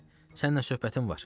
Bura gəl, səninlə söhbətim var.